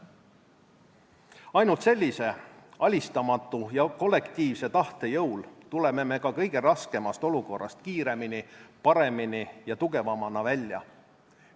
Ainult sellise alistamatu ja kollektiivse tahte jõul tuleme ka kõige raskemast olukorrast kiiremini, paremini ja tugevamana välja.